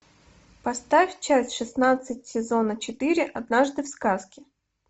поставь часть шестнадцать сезона четыре однажды в сказке